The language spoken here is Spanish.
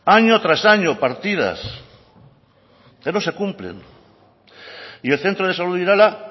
año tras año partidas que no se cumplen y el centro de salud de irala